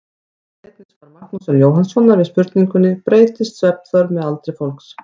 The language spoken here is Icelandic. Skoðið einnig svar Magnúsar Jóhannssonar við spurningunni Breytist svefnþörf með aldri fólks?